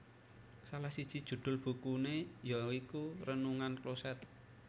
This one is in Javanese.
Salah siji judhul bukune ya iku Renungan Kloset